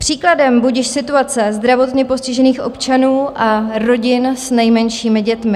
Příkladem budiž situace zdravotně postižených občanů a rodin s nejmenšími dětmi.